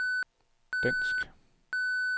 dansk